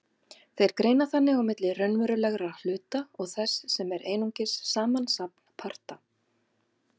Þeir greina þannig á milli raunverulegra hluta og þess sem er einungis samansafn parta.